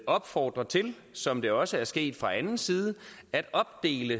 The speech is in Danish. opfordre til som det også er sket fra anden side at opdele